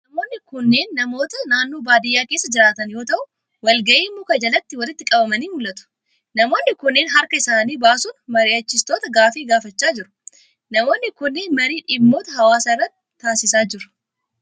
Namoonni kunneen, namoota naannoo baadiyaa keessa jiraatan yoo ta'u, waal gahiif muka jalatti walitti qabamanii mul'atu. Namoonni kunneen, harka isaanii baasuun mari'achiistota gaafii gaafachaa jiru. Namoonni kunneen marii dhimmoota hawaasaa irratti taasisaa jiru.